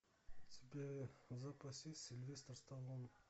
у тебя в запасе есть сильвестр сталлоне